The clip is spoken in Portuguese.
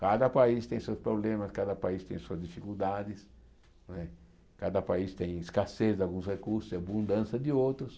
Cada país tem seus problemas, cada país tem suas dificuldades não é, cada país tem escassez de alguns recursos e abundância de outros.